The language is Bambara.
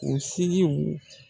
Kunsigiw